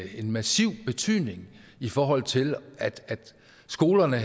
en massiv betydning i forhold til at skolerne